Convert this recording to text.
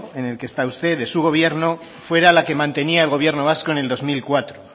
en el que está usted de su gobierno fuera la que mantenía el gobierno vasco en el dos mil cuatro